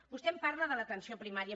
vostè em parla de l’atenció primària